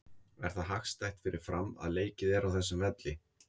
Er það hagstætt fyrir Fram að leikið er á þessum velli?